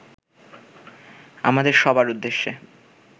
আমাদের সবার উদ্দেশে